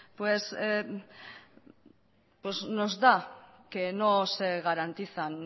pues nos da que no se garantizan